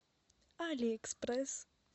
алиэкспресс